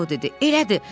Co dedi: "Elədir.